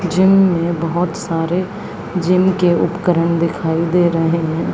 Gym में बहोत सारे जिम के उपकरण दिखाई दे रहे हैं।